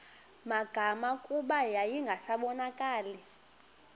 magama kuba yayingasabonakali